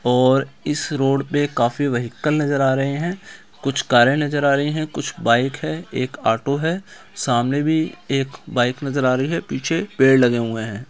और इस रोड पे काफी व्हीकल नज़र आ रहे है कुछ कारे नज़र आ रही है कुछ बाइक है एक ऑटो है सामने भी एक बाइक नज़र आ रही है पीछे पेड़ लगे हुए है ।